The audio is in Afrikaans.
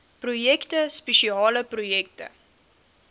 projekte spesiale projekte